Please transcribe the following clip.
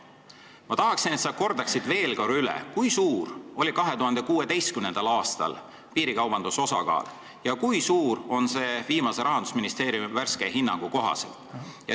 Ma tahaksin, et sa kordaksid veel korra üle, kui suur oli 2016. aastal piirikaubanduse osakaal ja kui suur on see viimase Rahandusministeeriumi värske hinnangu kohaselt.